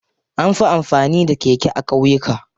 Anfi amfani da keke a ƙauyuka.